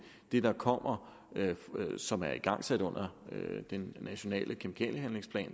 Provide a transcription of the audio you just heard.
det der kommer som er igangsat under den nationale kemikaliehandlingsplan